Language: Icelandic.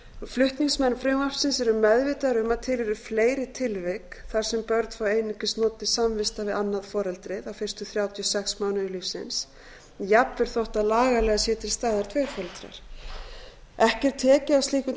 flutningsmenn frumvarpsins eru meðvitaðir um að til eru fleiri tilvik þar sem börn fá einungis notið samvista við annað foreldrið á fyrstu þrjátíu og sex mánuðum lífsins jafnvel þótt lagalega séu til staðar tveir foreldrar ekki er tekið á slíkum